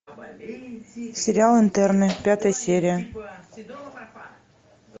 сериал интерны пятая серия